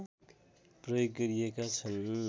प्रयोग गरिएका छन्